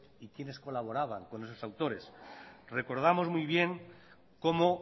y quiénes colaboraban con esos autores recordamos muy bien cómo